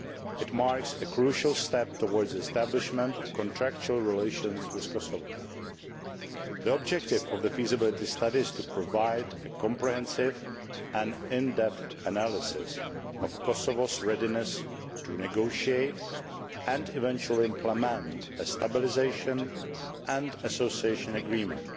It marks a crucial step towards the establishment of contractual relations with Kosovo. The objective of the feasibility study is to provide a comprehensive and in depth analysis of Kosovo's readiness to negotiate and eventually implement a Stabilisation and Association Agreement,